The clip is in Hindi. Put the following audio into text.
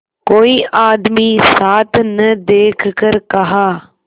कोई आदमी साथ न देखकर कहा